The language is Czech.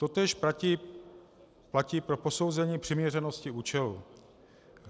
Totéž platí pro posouzení přiměřenosti účelu.